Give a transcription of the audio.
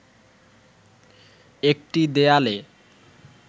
একটি দেয়ালে